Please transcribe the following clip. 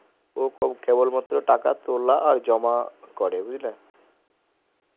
ও কে কেবল মাত্র টাকা তোলা আর জমা করে বুজলে